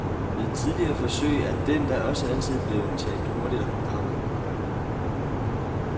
Ved tidligere forsøg er den da også altid blevet taget hurtigt af programmet.